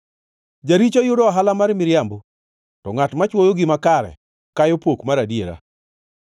Jaricho yudo ohala mar miriambo, to ngʼat machwoyo gima kare kayo pok mar adiera.